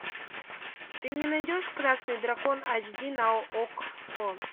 ты мне найдешь красный дракон айч ди на окко